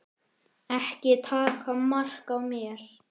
Ekki taka mark á mér.